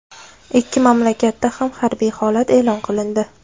Ikki mamlakatda ham harbiy holat e’lon qilindi .